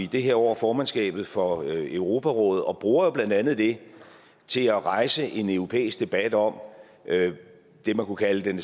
det her år formandskabet for europarådet og bruger jo blandt andet det til at rejse en europæisk debat om det man kunne kalde den